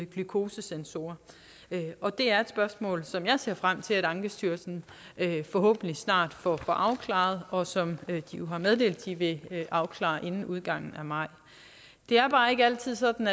glukosesensorer og det er et spørgsmål som jeg ser frem til ankestyrelsen forhåbentlig snart får afklaret og som de jo har meddelt de vil afklare inden udgangen af maj det er bare ikke altid sådan